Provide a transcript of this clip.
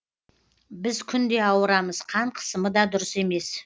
біз күнде ауырамыз қан қысымы да дұрыс емес